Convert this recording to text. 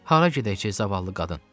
Hara gedək ki zavallı qadın?